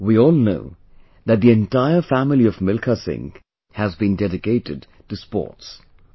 We all know that the entire family of Milkha Singh has been dedicated to sports...